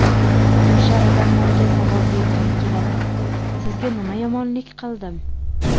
O‘sha odamlarga savol bergim keladi: Sizga nima yomonlik qildim?